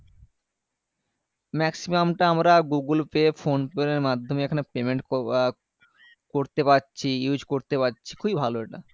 maximum টা আমরা Google Pay ফোনের পে এর মাধ্যমে payment কোয়া করতে পারছি use করতে পারছি খুবই ভালো এটা